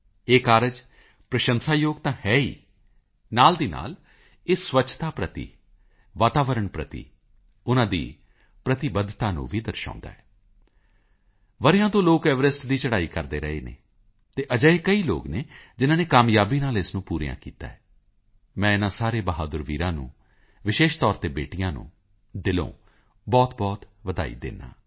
ਇਹ ਕਾਰਜ ਪ੍ਰਸ਼ੰਸਾਯੋਗ ਤਾਂ ਹੈ ਹੀ ਨਾਲ ਹੀ ਨਾਲ ਇਹ ਸਵੱਛਤਾ ਪ੍ਰਤੀ ਵਾਤਾਵਰਣ ਪ੍ਰਤੀ ਉਨ੍ਹਾਂ ਦੀ ਪ੍ਰਤੀਬੱਧਤਾ ਨੂੰ ਵੀ ਦਰਸਾਉਂਦਾ ਹੈ ਵਰ੍ਹਿਆਂ ਤੋਂ ਲੋਕ ਐਵਰੈਸਟ ਦੀ ਚੜ੍ਹਾਈ ਕਰਦੇ ਰਹੇ ਨੇ ਅਤੇ ਅਜਿਹੇ ਕਈ ਲੋਕ ਹਨ ਜਿਨਾਂ ਨੇ ਕਾਮਯਾਬੀ ਨਾਲ ਇਸ ਨੂੰ ਪੂਰਾ ਕੀਤਾ ਹੈ ਮੈਂ ਇਨ੍ਹਾਂ ਸਾਰੇ ਬਹਾਦਰ ਵੀਰਾਂ ਨੂੰ ਵਿਸ਼ੇਸ਼ ਤੌਰ ਤੇ ਬੇਟੀਆਂ ਨੂੰ ਦਿਲੋਂ ਬਹੁਤਬਹੁਤ ਵਧਾਈ ਦਿੰਦਾ ਹਾਂ